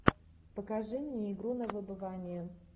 покажи мне игру на выбывание